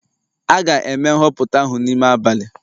A ga-eme nhọpụta ahụ n'ime abalị